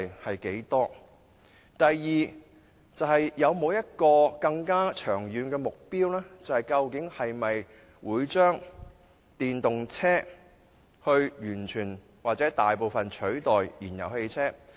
第二，當局有沒有更長遠的目標，會否以電動車完全或大部分地取代燃油汽車？